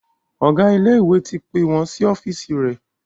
Ọgá ilé ìwé ti pé wón sí ọ́fíìsì rẹ